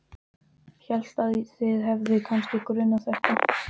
Hélt að þig hefði kannski grunað þetta.